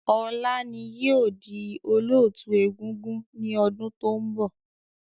Ọlá ni yìí ó di Olóótù egúngún ni ọdún to ń bọ̀